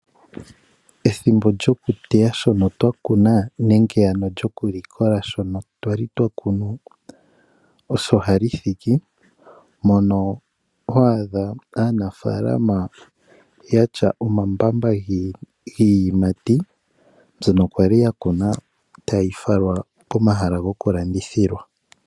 Ethimbo lyokuteya shono twa kuna nenge ano lyokulikola shono twali twa kunu osho hali thiki mono hwaadha aanafalama yatya omambamba giiyimati mbyono kwali ya kuna tayi falwa komahala gokulandithilwa.